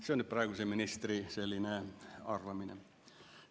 See on praeguse ministri arvamine.